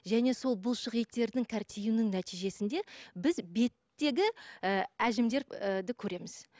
және сол бұлшық еттердің нәтижесінде біз беттегі ы әжімдер көреміз